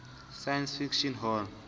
science fiction hall